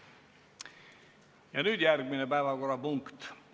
Ja nüüd järgmine päevakorrapunkt.